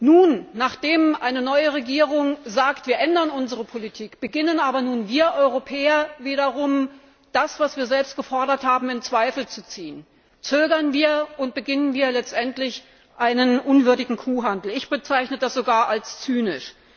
Nun aber, nachdem eine neue Regierung sagt Wir ändern unsere Politik, beginnen wir Europäer wiederum damit, das, was wir selbst gefordert haben, in Zweifel zu ziehen. Wir zögern und beginnen letztendlich einen unwürdigen Kuhhandel. Ich bezeichne das sogar als zynisch.